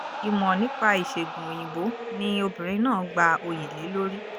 ìmọ̀ nípa ìṣègùn òyìnbó ni obìnrin náà gba oyè lé lórí